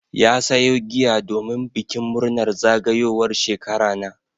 Ya sayo giya domin bikin murnar zagayowar shekara na.